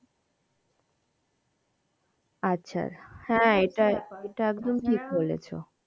আচ্ছা ঠিক বলেছো।